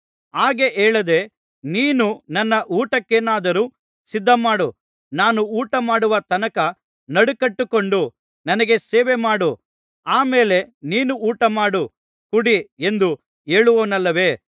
ಹಾಗೆ ಹೇಳದೆ ನೀನು ನನ್ನ ಊಟಕ್ಕೇನಾದರೂ ಸಿದ್ಧಮಾಡು ನಾನು ಊಟಮಾಡುವ ತನಕ ನಡುಕಟ್ಟಿಕೊಂಡು ನನಗೆ ಸೇವೆಮಾಡು ಆ ಮೇಲೆ ನೀನು ಊಟಮಾಡು ಕುಡಿ ಎಂದು ಹೇಳುವನಲ್ಲವೇ